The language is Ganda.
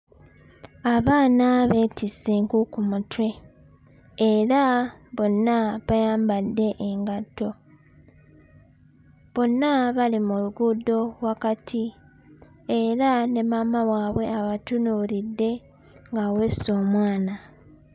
Abaana beetisse enku ku mutwe era bonna bayambadde engatto bonna bali mu luguudo wakati era ne maama waabwe abatunuulidde ng'aweese omwana.